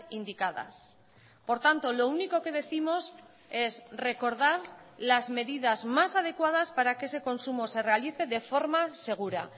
indicadas por tanto lo único que décimos es recordar las medidas más adecuadas para que ese consumo se realice de forma segura